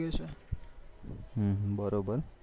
બરોબર